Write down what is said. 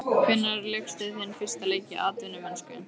Hvenær lékstu þinn fyrsta leik í atvinnumennsku?